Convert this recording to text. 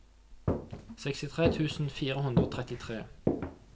sekstitre tusen fire hundre og trettitre